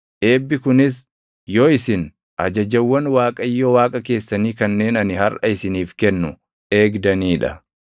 eebbi kunis yoo isin ajajawwan Waaqayyo Waaqa keessanii kanneen ani harʼa isiniif kennu eegdanii dha.